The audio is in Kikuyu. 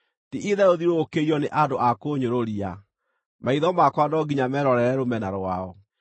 Ti-itherũ thiũrũrũkĩirio nĩ andũ a kũũnyũrũria; maitho makwa no nginya meerorere rũmena rwao.